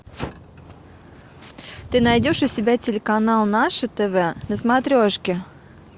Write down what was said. ты найдешь у себя телеканал наше тв на смотрешке